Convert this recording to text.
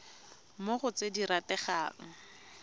mo go tse di rategang